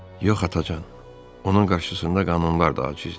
Yox atacan, onun qarşısında qanunlar da acizdir.